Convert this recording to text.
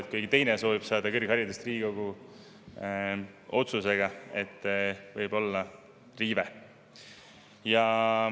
Kui näiteks keegi teine soovib saada kõrgharidust Riigikogu otsusega, siis võib seal olla riive.